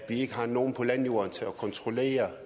ikke har nogen på landjorden til at kontrollere